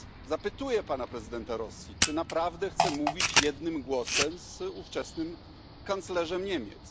Zapytuję zatem pana prezydenta Rosji, czy naprawdę chce mówić jednym głosem z ówczesnym kanclerzem Niemiec.